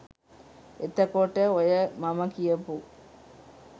එතකොට ඔය මම කියපු